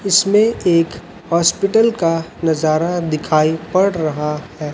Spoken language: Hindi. इसमें एक हॉस्पिटल का नजारा दिखाई पड़ रहा है।